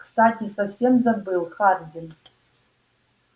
кстати совсем забыл хардин